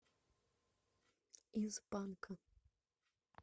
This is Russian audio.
из панка